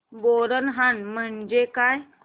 बोरनहाण म्हणजे काय